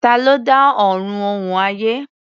Ta ló dá Ọ̀run òun ayé?